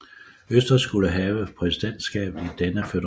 Østrig skulle have præsidentskabet i denne føderation